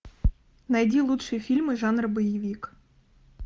найди лучшие фильмы жанра боевик